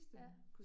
Ja